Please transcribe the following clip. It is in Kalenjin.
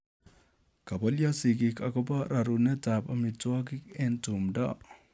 Kopolyo sigik akopo rerunet ap amitwokik eng tumdo